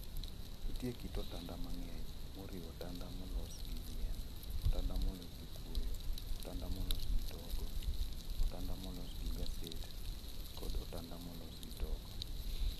Nitie kit otanda mang'eny , moriwo otanda molos gi yien, otanda molos gi kuoyo, otanda molos gi togo, otanda molos gi gaset, kod otanda molos gi togo.